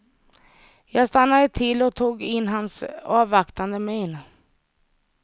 Jag stannade till och tog in hans avvaktande min.